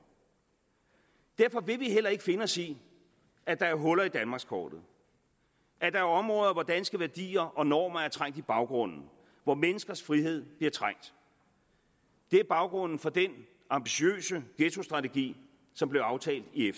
derfor vil vi heller ikke finde os i at der er huller i danmarkskortet at der er områder hvor danske værdier og normer er trængt i baggrunden og hvor menneskers frihed bliver trængt det er baggrunden for den ambitiøse ghettostrategi som blev aftalt i